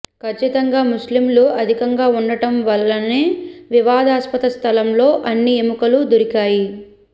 ఖచ్చితంగా ముస్లింలు అధికంగా ఉండడం వలననే వివాదాస్పద స్థలంలో అన్ని ఎముకలు దొరికాయి